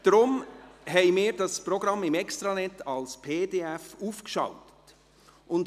Aus diesem Grund haben wir das Programm als PDF im Extranet aufgeschaltet.